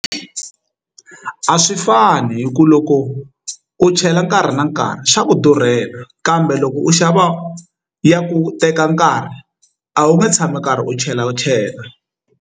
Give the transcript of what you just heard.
A swi fani hi ku loko u chela nkarhi na nkarhi xa ku durhela kambe loko u xava ya ku teka nkarhi a wu nge tshami u karhi u chela u chela.